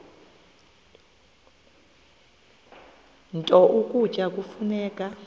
nto ukutya kufuneka